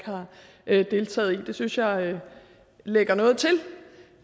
har deltaget i det synes jeg lægger noget til